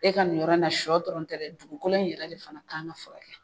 E ka ni yɔrɔ na shɔ dɔrɔntɛ dugukolo in yɛrɛ de fana' an ka fɛkɛya.